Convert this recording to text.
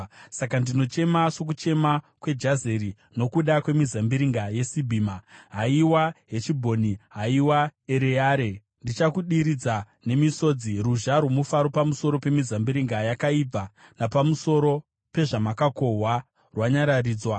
Saka ndinochema, sokuchema kweJazeri, nokuda kwemizambiringa yeSibhima. Haiwa Heshibhoni, haiwa Ereare, ndichakudiridza nemisodzi! Ruzha rwomufaro pamusoro pemizambiringa yakaibva napamusoro pezvamakakohwa rwanyaradzwa.